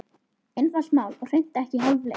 Einfalt mál og hreint ekki háfleygt.